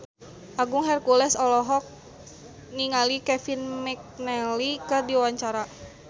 Agung Hercules olohok ningali Kevin McNally keur diwawancara